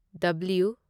W